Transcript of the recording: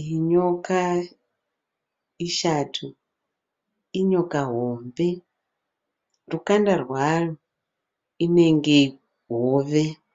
Iyi nyoka ishato. Inyoka hombe. Rukanda rwayo runenge hove.